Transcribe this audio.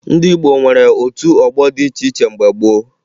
Ndị Igbo nwere otu ọgbọ dị iche iche mgbe gboo